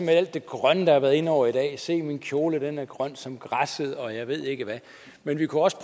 alt det grønne der har været inde over i dag se min kjole den er grøn som græsset og jeg ved ikke hvad men vi kunne også